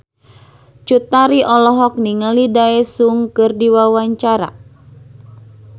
Cut Tari olohok ningali Daesung keur diwawancara